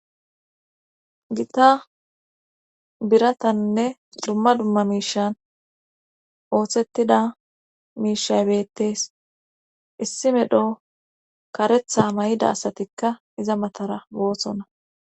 Gita biratanne dumma dumma miishan ooththettida miishay bettees issi medho karetha may7ida asatikka iza matara boosonna